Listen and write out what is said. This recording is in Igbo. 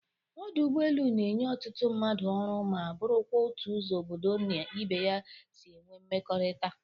Ọdụ ụgbọelu na-enye ọtụtụ mmadụ ọrụ ma bụrụkwa otu ụzọ obodo na ibe ya si enwe nmekọrịta.